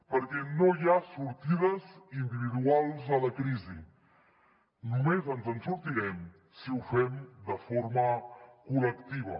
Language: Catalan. perquè no hi ha sortides individuals a la crisi només ens en sortirem si ho fem de forma col·lectiva